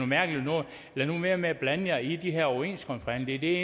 mærkeligt noget lad nu være med at blande jer i de her overenskomstforhandlinger det er